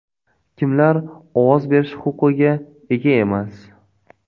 Kimlar ovoz berish huquqiga ega emas?